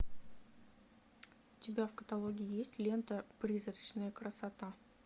у тебя в каталоге есть лента призрачная красота